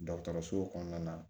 Dɔgɔtɔrɔso kɔnɔna na